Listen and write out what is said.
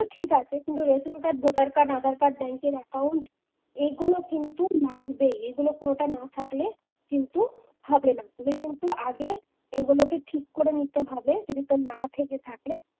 সেটা ঠিক আছে কিন্তু ration card voter card Aadhaar card ব্যাংকের account এগুলো কিন্তু লাগবেই। এগুলো কোনটা না থাকলে কিন্তু হবে না এগুলো কিন্তু আগে এগুলো তোকে ঠিক করে নিতে হবে যদি তোর না থেকে থাকে